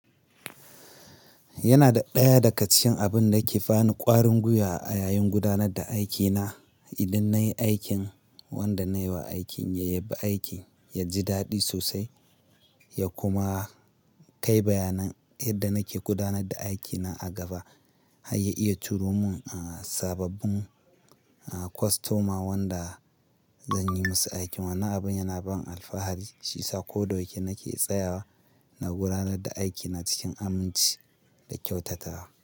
Yana da ɗaya daga cikin abin da ke bani ƙwarin guya a yayin gudanar da aikina. Idan nayi aikin wanda nayi wa aikin, ya yabi aikin ya ji daɗi sosai ya kuma kai bayanan yadda nake gudanar da aikina a gaba har ya iya turo mun sababbin kostoma wanda zan yi musu aikin. Wannan abin yana ban alfahari, shi sa koda waje nake tsayawa na gudanar da aikina cikin aminci da kyautatawa.